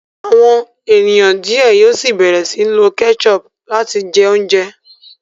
àwọn ènìyàn diẹ síi yóò bẹrẹ sii lo ketchup láti jẹ oúnjẹ.